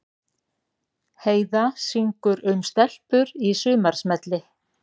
Heiða syngur um stelpur í sumarsmelli